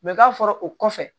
k'a fɔra o kɔfɛ